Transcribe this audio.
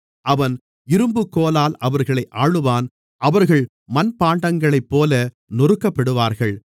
அவன் இரும்புக்கோலால் அவர்களை ஆளுவான் அவர்கள் மண்பாண்டங்களைப்போல நொறுக்கப்படுவார்கள்